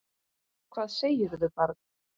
Hvað segirðu barn?